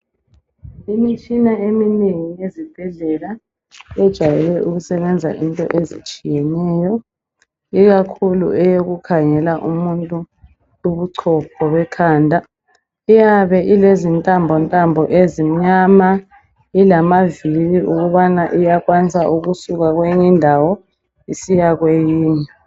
Imitshina eminengi ezibhedlela yejwayele ukusebenza into ezitshiyeneyo. Ikakhulu eyokukhangela umuntu ubuchopho bekhanda. Iyabe ilezintambo ntambo ezimnyama, ilamaviri okubana iyakwanisa kusuka kwenye indawo isiya kwenye.